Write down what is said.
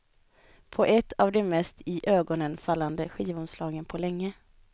På ett av de mest iögonenfallande skivomslagen på länge.